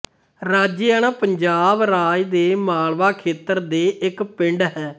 ਰਾਜਿਆਣਾ ਪੰਜਾਬ ਰਾਜ ਦੇ ਮਾਲਵਾ ਖੇਤਰ ਦੇ ਇੱਕ ਪਿੰਡ ਹੈ